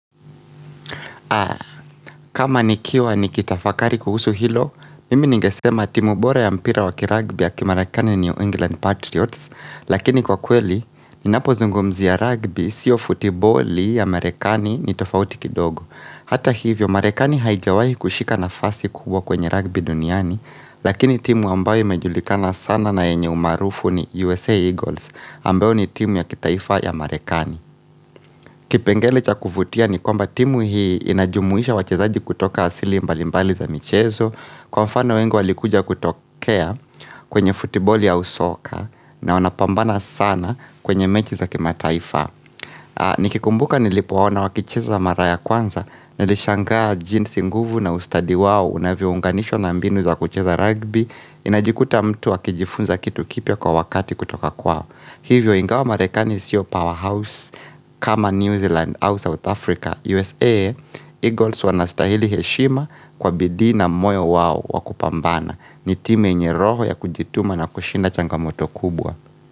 Kama nikiwa nikitafakari kuhusu hilo, mimi ningesema timu bora ya mpira wa kiragbi ya kimarekani New England Patriots Lakini kwa kweli, ninapozungumzia ragbi, sio futiboli ya marekani ni tofauti kidogo Hata hivyo, marekani haijawahi kushika nafasi kubwa kwenye ragbi duniani Lakini timu ambayo imejulikana sana na enye umarufu ni USA Eagles ambayo ni timu ya kitaifa ya marekani Kipengele cha kuvutia ni kwamba timu hii inajumuisha wachezaji kutoka asili mbalimbali za michezo Kwa mfano wengi walikuja kutokea kwenye futiboli au soka na wanapambana sana kwenye mechi za kimataifa Nikikumbuka nilipo waona wakicheza mara ya kwanza nilishangaa jinsi nguvu na ustadi wao unavyo unganishwa na mbinu za kucheza rugby Inajikuta mtu akijifunza kitu kipya kwa wakati kutoka kwao Hivyo ingawa marekani sio powerhouse kama New Zealand au South Africa USA Eagles wanastahili heshima kwa bidii na moyo wao wakupambana ni timu enye roho ya kujituma na kushinda changamoto kubwa.